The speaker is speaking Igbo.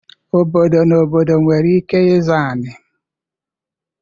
Obodo na obodo nwere ike ịzọ anị.